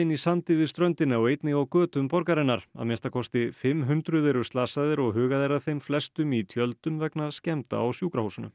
í sandi við ströndina og einnig á götum borgarinnar að minnsta kosti fimm hundruð eru slösuð og hugað er að þeim flestum í tjöldum vegna skemmda á sjúkrahúsunum